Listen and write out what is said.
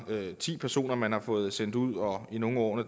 ti personer man har fået sendt ud og i nogle af årene